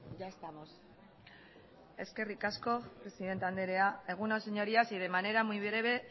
ya estamos eskerrik asko presidenta anderea egun on señorías y de manera muy breve